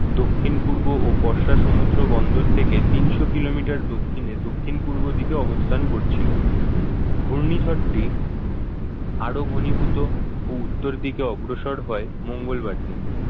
দক্ষিণ-পূর্ব ও বর্ষা সমুদ্র বন্দর থেকে তিনশো kilometer র দক্ষিণে দক্ষিণ পূর্ব দিকে অবস্থান করছিল। ঘূর্ণিঝড়টি আরো ঘনীভূত ও উত্তর দিকে অগ্রসর হয় মঙ্গলবার দিন